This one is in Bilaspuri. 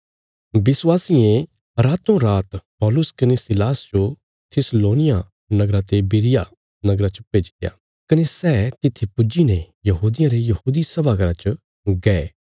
विश्वासियें रातोरात पौलुस कने सीलास जो थिस्सलोनिया नगरा ते बिरिया नगरा च भेजित्या कने सै तित्थी पुज्जी ने यहूदियां रे यहूदी सभा घर च गये